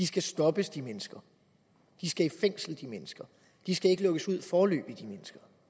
skal stoppes de mennesker skal i fængsel de mennesker skal ikke lukkes ud foreløbig